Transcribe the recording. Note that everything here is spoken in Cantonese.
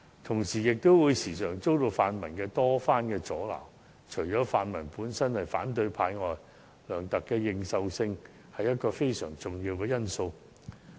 同時，他亦時常遭到泛民主派多番阻撓，除了因為他們本身是反對派之外，梁特首的認受性亦是一個非常重要的因素。